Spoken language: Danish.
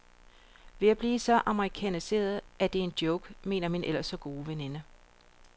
Vi er ved at blive så amerikaniserede, så det er en joke, mener min ellers så gode veninde.